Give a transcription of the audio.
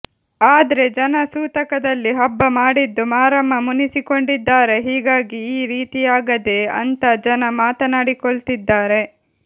ಆದ್ರೆ ಜನ ಸೂತಕದಲ್ಲಿ ಹಬ್ಬ ಮಾಡಿದ್ದು ಮಾರಮ್ಮ ಮುನಿಸಿಕೊಂಡಿದ್ದಾರೆ ಹೀಗಾಗಿ ಈ ರೀತಿಯಾಗದೆ ಅಂತಾ ಜನ ಮಾತನಾಡಿಕೊಳ್ತಿದ್ದಾರೆ